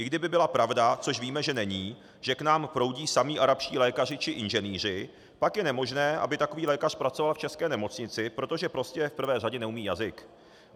I kdyby byla pravda, což víme, že není, že k nám proudí samí arabští lékaři či inženýři, pak je nemožné, aby takový lékař pracoval v české nemocnici, protože prostě v prvé řadě neumí jazyk.